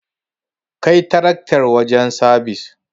Kai taraktar wajen sabis.